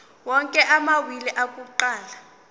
onke amawili akuqala